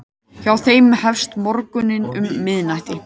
Hjá þeim hefst morgunn um miðnætti.